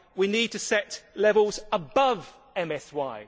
We need to set levels above MSY.